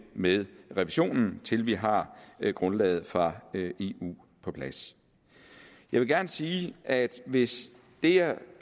med revisionen til vi har grundlaget fra eu på plads jeg vil gerne sige at hvis det jeg